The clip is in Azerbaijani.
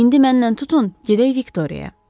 İndi mənimlə tutun, gedək Viktoriyaya.